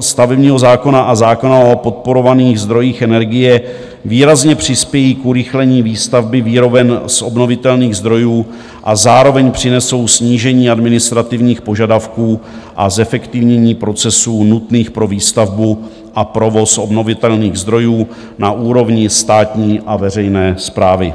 stavebního zákona a zákona o podporovaných zdrojích energie výrazně přispějí k urychlení výstavby výroben z obnovitelných zdrojů a zároveň přinesou snížení administrativních požadavků a zefektivnění procesů nutných pro výstavbu a provoz obnovitelných zdrojů na úrovni státní a veřejné správy.